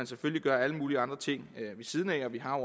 selvfølgelig gøre alle mulige andre ting ved siden af og vi har